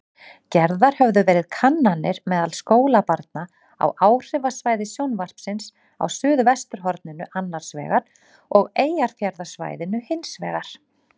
Gerðar höfðu verið kannanir meðal skólabarna á áhrifasvæði sjónvarpsins á suðvesturhorninu annarsvegar og Eyjafjarðarsvæðinu hinsvegar.